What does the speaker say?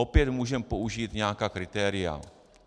Opět můžeme použít nějaká kritéria.